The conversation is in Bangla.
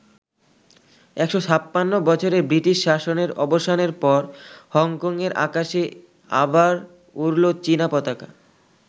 ১৫৬ বছরের ব্রিটিশ শাসনের অবসানের পর হংকং এর আকাশে আবার উড়লো চীনা পতাকা।